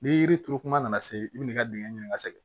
Ni yiri turu kuma nana se i bɛ n'i ka dingɛ ɲini ka sɛgɛn